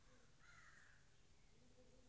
.